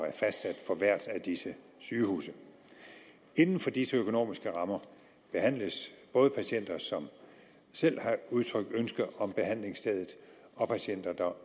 er fastsat for hvert af disse sygehuse inden for disse økonomiske rammer behandles både patienter som selv har udtrykt ønske om behandlingsstedet og patienter der